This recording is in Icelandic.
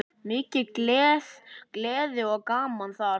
Mikil gleði og gaman þar.